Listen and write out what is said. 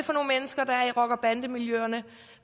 rocker bande miljøerne